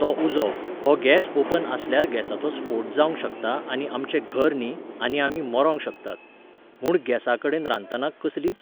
तो उजो, हो गॅस ओपन आसल्यार गॅसाचो स्फोट जावंक शकता आनी आमचें घर न्ही, आनी आमी मरोंक शकतात. म्हूण गॅसा कडेन रांदतना कसलीच